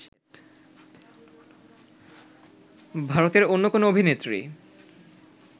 ভারতের অন্য কোনো অভিনেত্রী